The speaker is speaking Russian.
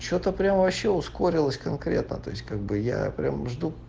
что-то прямо вообще ускорилось конкретно то есть как бы я прям жду